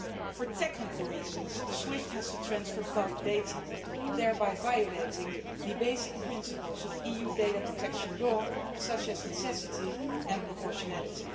For technical reasons, SWIFT has to transfer bulk data, thereby violating the basic principles of EU data protection law such as necessity and proportionality.